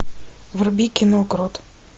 вруби кино крот